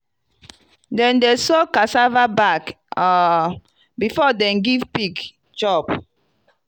na um long um stick we take beat gero ontop plank.